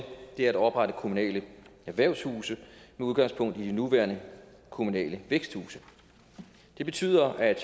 er at oprette kommunale erhvervshuse med udgangspunkt i de nuværende kommunale væksthuse det betyder at